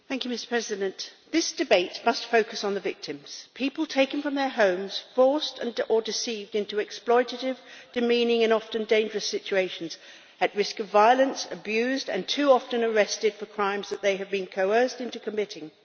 Mr President, this debate must focus on the victims people taken from their homes, forced or deceived into exploitative, demeaning and often dangerous situations, at risk of violence, abused, and too often arrested for crimes that they have been coerced into committing.